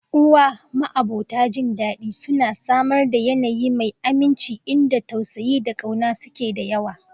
Uwa, ma'abota jin dadi, suna samar da yanayi mai aminci inda tausayi da ƙauna suke da yawa.